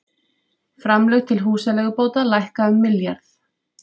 Framlög til húsaleigubóta lækka um milljarð